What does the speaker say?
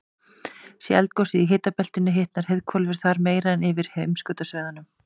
sé eldgosið í hitabeltinu hitnar heiðhvolfið þar meira en yfir heimskautasvæðunum